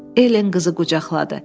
Ellen qızı qucaqladı.